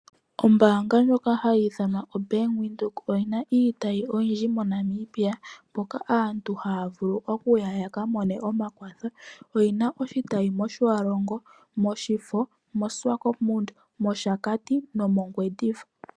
Ombaanga ndjoka hayi ithanwa oBank Windhoek oyina iitayi oyindji mo Namibia mpoka aantu haya vulu okuya ya ka mone omakwatho . Oyina oshitayi mo Otjiwarongo, mOshifo, moSwakopund mOshakati nomOngwediva.